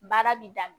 Baara bi daminɛ